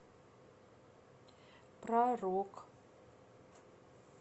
про рок